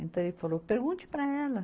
Então ele falou, pergunte para ela.